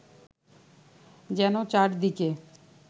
যেন চারিদিকে